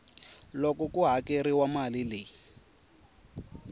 loko ku hakeriwile mali leyi